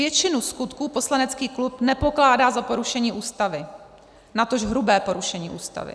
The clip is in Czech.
Většinu skutků poslanecký klub nepokládá za porušení Ústavy, natož hrubé porušení Ústavy.